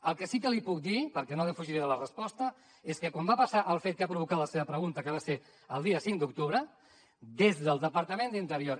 el que sí que li puc dir perquè no defugiré la resposta és que quan va passar el fet que ha provocat la seva pregunta que va ser el dia cinc d’octubre des del departament d’interior